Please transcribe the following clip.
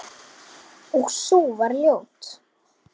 Og sú var ljót!